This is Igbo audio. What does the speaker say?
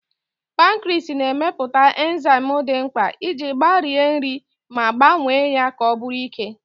Pankriis na-emepụta enzaịm dị mkpa iji gbarie nri ma gbanwee ya ka ọ bụrụ ike.